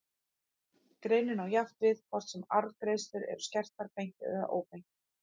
Greinin á jafnt við hvort sem arðgreiðslur eru skertar beint eða óbeint.